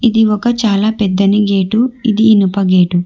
ఇది ఒక చాలా పెద్దని గేటు ఇది ఇనుప గేటు .